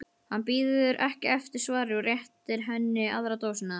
Hann bíður ekki eftir svari og réttir henni aðra dósina.